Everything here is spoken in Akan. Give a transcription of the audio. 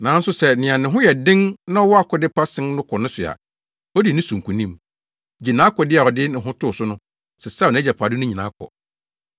nanso sɛ nea ne ho yɛ den na ɔwɔ akode pa sen no kɔ ne so a, odi ne so nkonim, gye nʼakode a ɔde ne ho too so no, sesaw nʼagyapade no nyinaa kɔ.